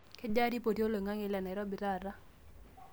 kejaa ripoti oloing'ang'e le Nairobi taata